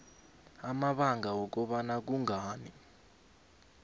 amabanga wokobana kungani